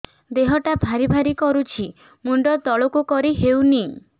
ଦେହଟା ଭାରି ଭାରି କରୁଛି ମୁଣ୍ଡ ତଳକୁ କରି ହେଉନି